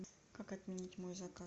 как отменить мой заказ